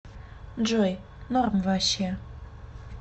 джой норм ваще